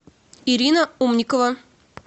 ирина умникова